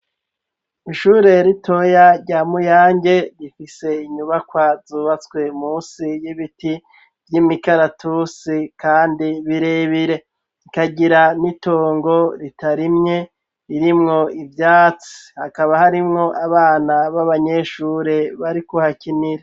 Ishure ritoya rya muyange rifise inyubakwa zubatswe musi y'ibiti vy'imikaratusi, kandi birebire ikagira n'itongo ritarimwe ririmwo ivyatsi hakaba harimwo abana b'abanyeshure bariko hakinire.